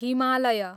Himalaya